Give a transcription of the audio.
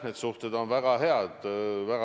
Urve Tiidus, palun!